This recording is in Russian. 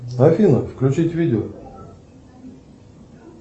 афина включить видео